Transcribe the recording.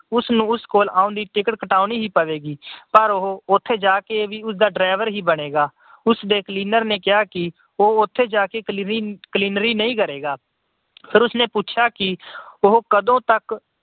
ਉਸਨੂੰ ਉਸ ਕੋਲ ਆਉਣ ਦੀ ticket ਕਟਾਣੀ ਹੀ ਪਵੇਗੀ ਪਰ ਉਹ ਉਥੇ ਜਾ ਕੇ ਵੀ ਉਸਦਾ driver ਹੀ ਬਣੇਗਾ। ਉਸਦੇ cleaner ਨੇ ਕਿਹਾ ਕਿ ਉਹ ਜਾ ਕੇ ਕਲੀਨਰੀ ਨਹੀਂ ਕਰੇਗਾ। ਫਿਰ ਉਸਨੇ ਪੁੱਛਿਆ ਕਿ ਉਹ ਕਦੋਂ ਤੱਕ ਉਸ